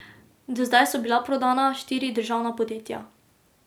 Do zdaj so bila prodana štiri državna podjetja.